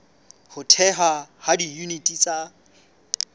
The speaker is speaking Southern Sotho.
ho thehwa ha diyuniti tsa